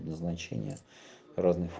значение разных